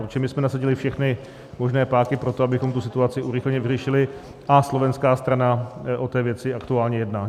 Protože my jsme nasadili všechny možné páky pro to, abychom tu situaci urychleně vyřešili, a slovenská strana o té věci aktuálně jedná.